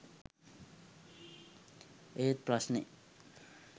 ඒත් ප්‍රශ්නෙ